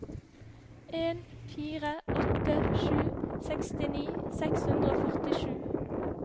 en fire åtte sju sekstini seks hundre og førtisju